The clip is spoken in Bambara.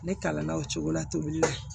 Ne kalanna o cogo la tobili la